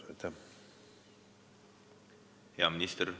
Hea minister!